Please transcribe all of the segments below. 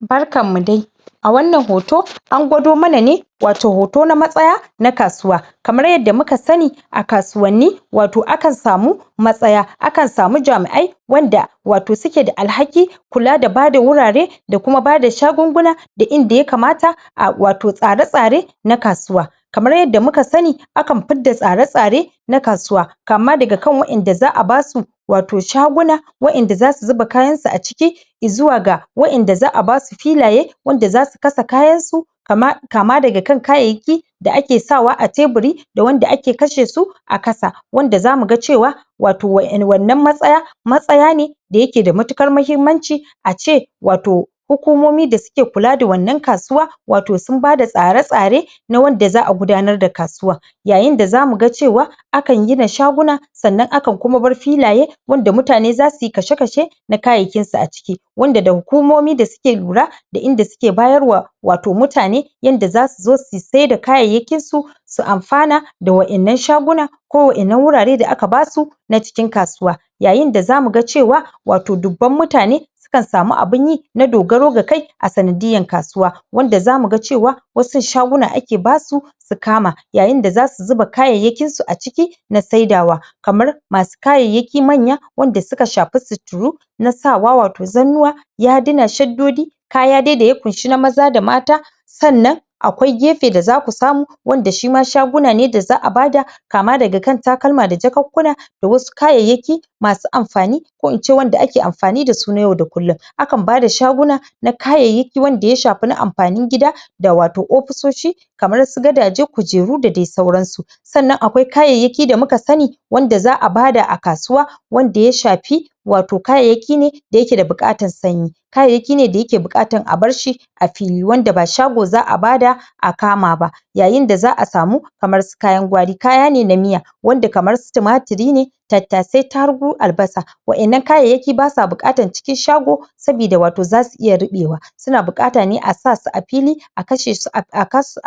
barkan mu dai a wannan hoto an gwado mana ne wato hoto na matsaya na kasuwa kamar yadda muka sani a kasuwanni wato akan samu matsaya akan sau jami'ai wanda wato suke da al'haki kula da bada wurare da kuma bada shagunguna da inda yakama a wato tsare tsare na kasuwa kamar yadda muka sani akan fidda tsare tsare na kasuwa kama daga kan waƴanda za'a basu wato shaguna waƴanda zasu zuba kayan su aciki izuwa ga wa ƴanda za'a basu filaye wanda zasu kasa kayan su kama daga kan kayayya ki sa ake sawa ateburi da wanda ake kashe su a kasa wanda zamuga cewa wato wannan matsaya matsaya ne da yake da matukar mahimmanci ace wato hukumomi da su ke kula da wannan kasuwa wato sun bada tsare tsare na wanda za'a gudanar da kasuwa yayinda zamu ga cewa akan gina shaguna sannan akan kuma bar filaye wanda mutane zasuyi kashe kashe na kayayyakin su aciki wanda da hukumomi da suke lura da inda ke bayarwa a wato mutane yanda zasu zo su saida kayayyakin su su anfana da waƴannan shaguna ko wa ƴannan wurare da aka basu na cikin kasuwa yayin da zamuga cewa wato dubban mutane sukan samu abinyi na dogaro ga kai a sanadiyan kasuwa wanda zamuga cewa wasun shaguna ake basu su kama yayin ba zasu zuba kayayyakin su aciki na saidawa kamar masu kayayyai ki manya wanda suka shafi suturu na sawqa wato zannuwa yaduna shaddodi kaya dai daya kunshi na maza da mata sannan akwai gefe da zaku samu wanda shima shaguna ne da za'a bada kama daga kan takalma da jakunkuna da wasu kayayyaki masu anfani ko ince wanda ake anfani dasu na yau da kullun akan bada shaguna na kayayyaki wanda ya shafi na anfanin gida da wato ofisoshi kamar su gadaje kujeru dadai sauran su sannan akwai kayayyaki da muka sani wanda za'a bada a kasuwa wamda ya shafi wato kayayyaki ne da yake da buƙatan sanyi kayayyaki ne daya ke buƙatan abarshi a fili wanda ba shago za'a bada akama ba yayin da za'a samu kamar su kayan gwari kayane na miya wanda kamar timatiri ne tattasai tarugu aibasa waƴannan kayayyaki basa bukatan cikin shago sabida watoi zasu iya ruɓewa suna buƙata ne a sasu a fili a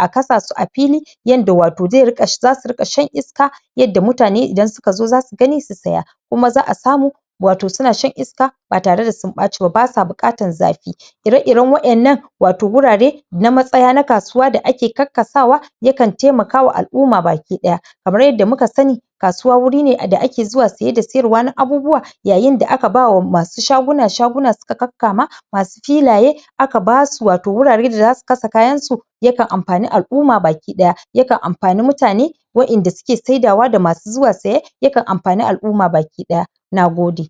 kasa su a fili yanda wato zai riƙa zasu riƙa shan iska yadda mutane ida suka zo da su gani su saya k[ma za'a samu wato suna shan iska batare da sun ɓaci ba basa buƙatan zafi ire iren waƴannan wato wurare na matsaya na kasuwa da ake kakkasawa yakan taimaka wa al'umma baki ki ɗaya kamar yadda muka sani kasuwa wuri ne da ake zuwa saye ba sayarwa na abubuwa yayin da aka bawa masu shaguna shaguna suka kakkama masu filaye akabasu wato wurare da za kasa kayan su yakan anfani al'umma bakiɗaya yakan anfani mutane waƴanda ke saidawa da masu zuwa saye yakan anfani al'umma ba ki ɗaya. Nagode.